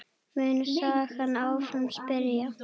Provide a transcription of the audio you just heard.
mun sagan áfram spyrja.